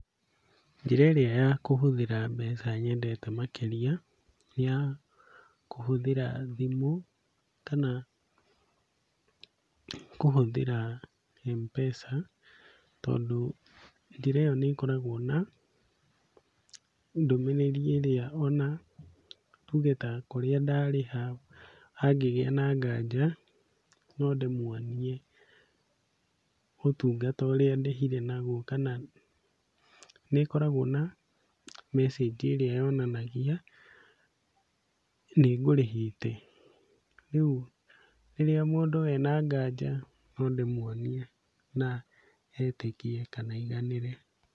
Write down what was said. Njĩra ĩrĩa ya kũhũthĩra mbeca nyendete makĩria nĩ ya kũhũthĩra thimũ kana kũhũthĩra Mpesa, tondũ njĩra ĩyo nĩĩkoragwo na ndũmĩrĩri ĩrĩa ona tuge ta kũrĩa ndarĩha hangĩgĩa na nganja no ndĩmuonie ũtungata ũrĩa ndĩhire naguo kana nĩĩkoragwo na message i ĩrĩa yonanagia nĩngũrĩhĩte rĩu, rĩrĩa mũndũ ena nganja nondĩmuonie na etĩkie kana aiganĩre.